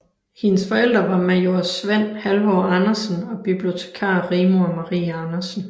Hendes forældre var major Svend Halvor Andersen og bibliotekar Rigmor Marie Andersen